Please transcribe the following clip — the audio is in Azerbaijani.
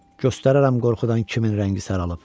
Göstərərəm qorxudan kimin rəngi saralıb.